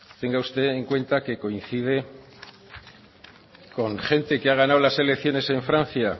tenga usted en cuenta que coincide con gente que ha ganado las elección en francia